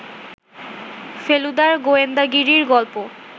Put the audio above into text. ফেলুদার গোয়েন্দাগিরি গল্প